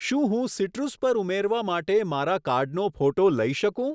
શું હું સીટ્રુસ પર ઉમેરવા માટે મારા કાર્ડનો ફોટો લઈ શકું?